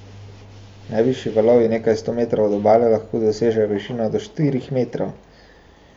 Najvišji valovi nekaj sto metrov od obale lahko dosežejo višino do štirih metrov.